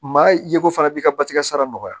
Maa ye ko fana b'i ka basikɛ sara nɔgɔya